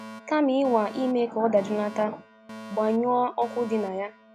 “ Kama ịnwa ime ka ọ dajụlata, gbanyụọ ọkụ dị na ya.